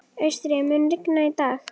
Austri, mun rigna í dag?